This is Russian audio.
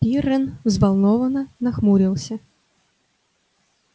пиренн взволнованно нахмурился